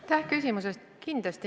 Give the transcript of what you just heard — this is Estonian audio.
Aitäh küsimuse eest!